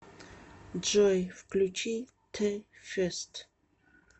джой включи ти фест